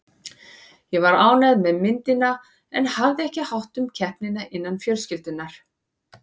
Ég var ánægð með myndina en hafði ekki hátt um keppnina innan fjölskyldunnar.